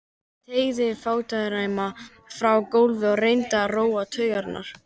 Teygði fæturna fram á gólfið og reyndi að róa taugarnar.